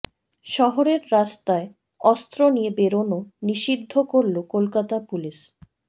শহরের রাস্তায় অস্ত্র নিয়ে বেরানো নিষিদ্ধ করল কলকাতা পুলিস